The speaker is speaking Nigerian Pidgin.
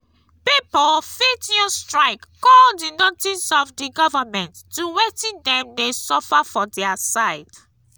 pipo fit use strike call di notice of di government to wetin dem de suffer for their side